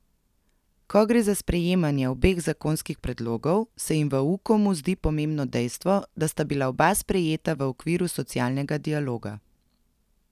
Ko gre za sprejemanje obeh zakonskih predlogov, se jim v Ukomu zdi pomembno dejstvo, da sta bila oba sprejeta v okviru socialnega dialoga.